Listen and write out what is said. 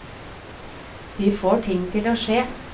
De får ting til å skje.